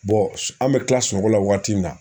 an bɛ kila sunɔgɔ la waati min na.